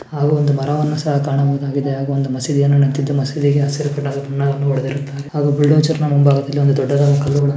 ಹಾಗು ಒಂದು ಮರವನ್ನು ಸಹ ಕಾಣಬಹುದಾಗಿದೆ ಹಾಗು ಒಂದು ಮಸೀದಿಯು ಇದ್ದು ಮಸೀದಿಗೆ ಹಸಿರು ಬಣ್ಣ ಬುಲ್ಡೋಜ್ರ್ನ ಮುಂಭಾಗದಲ್ಲಿ ದೊಡ್ಡದಾದ ಕಲ್ಲು--